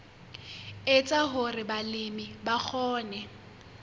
etsa hore balemi ba kgone